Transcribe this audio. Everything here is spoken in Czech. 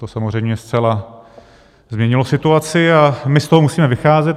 To samozřejmě zcela změnilo situaci a my z toho musíme vycházet.